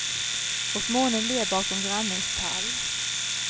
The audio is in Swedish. Och månen ler bakom grannens tall.